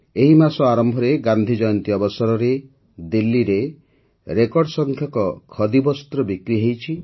ଏହି ମାସ ଆରମ୍ଭରେ ଗାନ୍ଧି ଜୟନ୍ତୀ ଅବସରରେ ଦିଲ୍ଲୀରେ ରେକର୍ଡ଼ ସଂଖ୍ୟକ ଖଦି ବସ୍ତ୍ର ବିକ୍ରି ହୋଇଛି